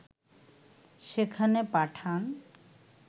সেখানে পাঠান